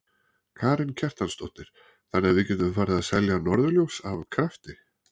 Karen Kjartansdóttir: Þannig að við getum farið að selja norðurljós af krafti?